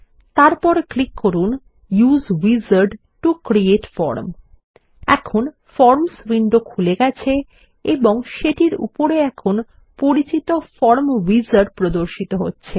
তারপর ক্লিক করুন use wizard to create form এখন ফরমস উইন্ডো খুলে গেছে এবং সেটির উপরে এখন পরিচিত ফর্ম উইজার্ড প্রর্দশিত হচ্ছে